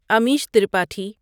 Amish Tripathi